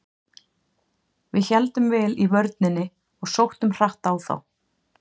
Við héldum vel í vörninni og sóttum hratt á þá.